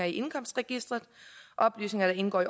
indkomstregisteret oplysninger der indgår i